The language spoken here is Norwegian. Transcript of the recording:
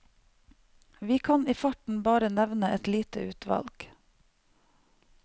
Vi kan i farten bare nevne et lite utvalg.